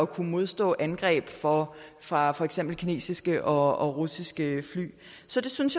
kunne modstå angreb fra fra for eksempel kinesiske og russiske fly så det synes